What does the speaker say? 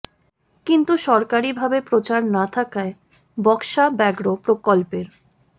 কিন্তু সরকারি ভাবে প্রচার না থাকায় বক্সা ব্যাঘ্র প্রকল্পের